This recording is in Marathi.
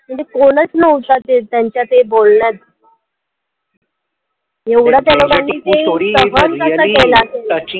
म्हणजे कोणचं नव्हतं ते त्यांच्यात हे बोललं एवढं त्या लोकांनी ते सहन कसं केलं असेल